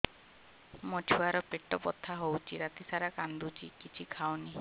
ମୋ ଛୁଆ ର ପେଟ ବଥା ହଉଚି ରାତିସାରା କାନ୍ଦୁଚି କିଛି ଖାଉନି